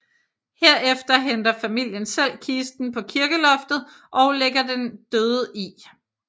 Herefter henter familien selv kisten på kirkeloftet og lægger den døde i